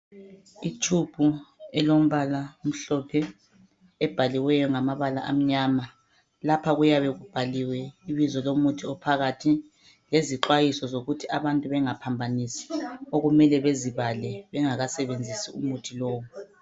I tube elombala omhlophe ebhaliweyo ngamabala amnyama lapha kuyabe kubhaliwe ibizo lomuthi ophakathi lezixwayiso zokuthi abantu bengaphambanisi okumele bezibale bengakasebenzisi umuthi lowu.